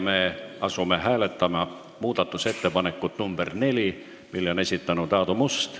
Me asume hääletama muudatusettepanekut nr 4, mille on esitanud Aadu Must.